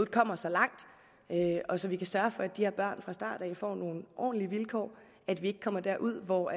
kommer så langt og så vi kan sørge for at de her børn fra start af får nogle ordentlige vilkår og at vi ikke kommer derud hvor